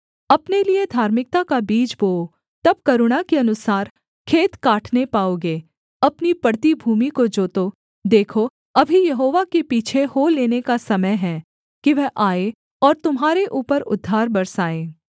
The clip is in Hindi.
अपने लिये धार्मिकता का बीज बोओ तब करुणा के अनुसार खेत काटने पाओगे अपनी पड़ती भूमि को जोतो देखो अभी यहोवा के पीछे हो लेने का समय है कि वह आए और तुम्हारे ऊपर उद्धार बरसाएँ